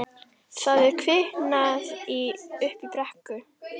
Það er kviknað í uppi í brekku!